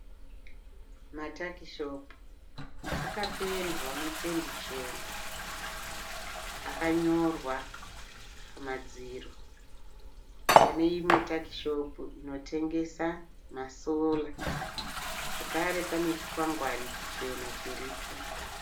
Matakishopu akapendwa nependi chena akanyorwa pamadziro. Pane imwe takishopu inotengesa ma(solar). Zvakare pane chikwangwani chichena chiripo.